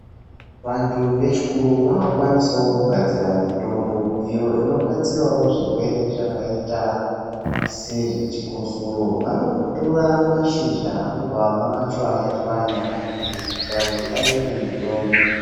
Vantu vechikuru vakukwanisawo kugadzira mitombo iyo inobatsirawo zvirwere zvakaita sezvechikosoro. Vanotora mashizha vobva vamachwanya chwanya kuita kuti aite mitombo.